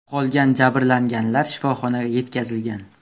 Qolgan jabrlanganlar shifoxonaga yetkazilgan.